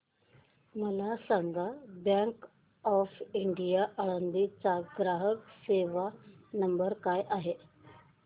मला सांगा bank of India Alandi चा ग्राहक सेवा नंबर काय आहे